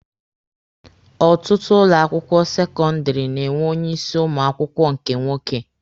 Ọtụtụ ụlọ akwụkwọ sekọndịrị na-enwe onye isi ụmụ akwụkwọ nke nwoke.